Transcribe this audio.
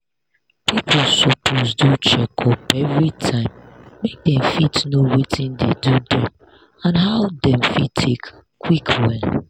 people suppose do checkup everytime make dem fit know watin dey do dem and how dem fit take quick well.